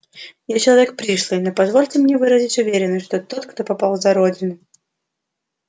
я человек пришлый но позвольте мне выразить уверенность что тот кто попал за родину